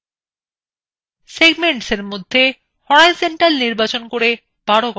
segmentsএ মধ্যে horizontal পরিবর্তন করে ১২করা যাক